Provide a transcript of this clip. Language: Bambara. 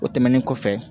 O tɛmɛnen kɔfɛ